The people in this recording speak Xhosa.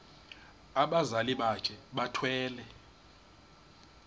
abazali bakhe bethwele